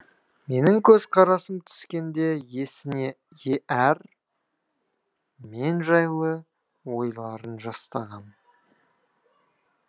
менің көзқарасым түскенде есіне әр мен жайлы ойларын жастаған